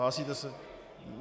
Hlásíte se?